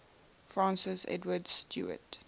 francis edward stuart